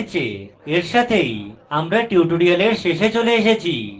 এর সাথেই আমরা এই tutorial শেষে চলে এসেছি